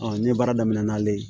ne ye baara daminɛ n'ale ye